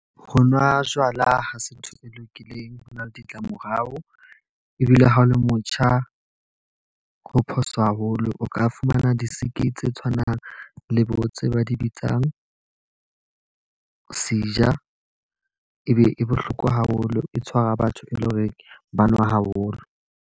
Ho nwa jwala ha se ntho e lokileng. Ho na le ditlamorao, ebile ha o le motjha ho phoso haholo. O ka fumana di-sick tse tshwanang le bo tse ba di bitsang seizure, e be e bohloko haholo. E tshwara batho eleng hore ba nwa haholo.